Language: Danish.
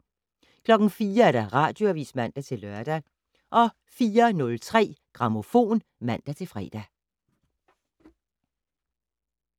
04:00: Radioavis (man-lør) 04:03: Grammofon (man-fre)